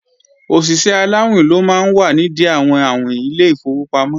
Òṣìṣẹ́ aláàwìn ló máa ń wà nìdí àwọn àwìn ilé ìfowópamọ́